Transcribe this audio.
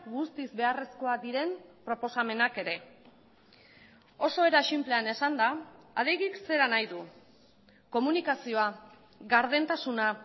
guztiz beharrezkoak diren proposamenak ere oso era sinplean esanda adegik zera nahi du komunikazioa gardentasuna